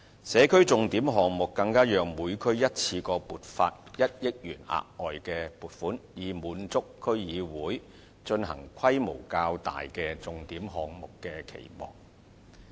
社區重點項目更讓每區一次過獲得1億元額外撥款，以滿足區議會進行規模較大的重點項目的期望。